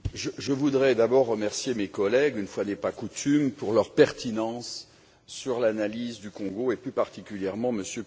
Monsieur le Président, je voudrais d'abord remercier mes collègues, une fois n'est pas coutume, pour leur pertinence dans l'analyse du Congo et, plus particulièrement, M.